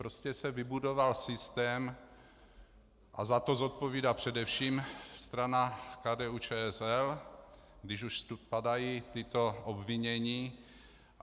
Prostě se vybudoval systém a za to zodpovídá především strana KDU-ČSL, když už tu padají tato obvinění.